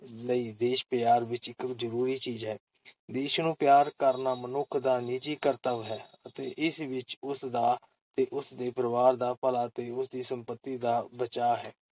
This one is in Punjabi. ਲਈ ਦੇਸ਼-ਪਿਆਰ ਵਿਚ ਇਕ ਜ਼ਰੂਰੀ ਚੀਜ਼ ਹੈ । ਦੇਸ਼ ਨੂੰ ਪਿਆਰ ਕਰਨਾ ਮਨੁੱਖ ਦਾ ਨਿੱਜੀ ਕਰਤੱਵ ਹੈ ਅਤੇ ਇਸ ਵਿਚ ਉਸ ਦਾ ਤੇ ਉਸ ਦੇ ਪਰਿਵਾਰ ਦਾ ਭਲਾ ਤੇ ਉਸ ਦੀ ਸੰਪਤੀ ਦਾ ਬਚਾ ਹੈ।